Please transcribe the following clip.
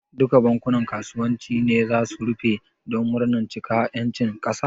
Duka bankunan kasuwanci ne zasu rufe don murnan cika ƴancin kasa?